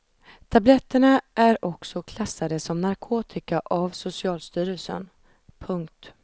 Tabletterna är också klassade som narkotika av socialstyrelsen. punkt